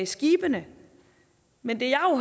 skibene men det